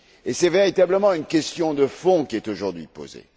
C'est, véritablement, une question de fond qui est aujourd'hui posée.